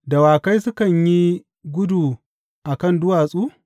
Dawakai sukan yi gudu a kan duwatsu?